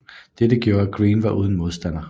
Dette gjorde at Greene var uden modstander